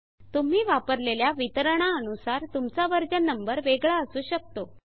तुम्ही वापरलेल्या वितरणा अनुसार तुमचा वर्जन नंबर वेगळा असु शकतो